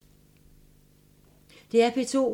DR P2